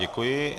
Děkuji.